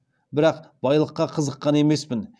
бірақ байлыққа қызыққан емеспін